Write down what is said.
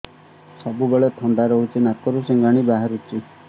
ସବୁବେଳେ ଥଣ୍ଡା ରହୁଛି ନାକରୁ ସିଙ୍ଗାଣି ବାହାରୁଚି